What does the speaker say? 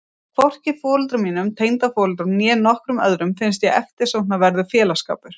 Hvorki foreldrum mínum, tengdaforeldrum, né nokkrum öðrum finnst ég eftirsóknarverður félagsskapur.